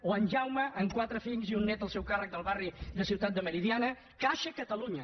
o en jaume amb quatre fills i un nét al seu càrrec del barri de ciutat meridiana caixa catalunya